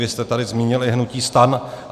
Vy jste tady zmínili hnutí STAN.